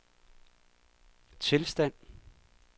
tilstand